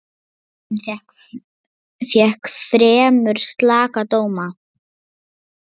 Myndin fékk fremur slaka dóma.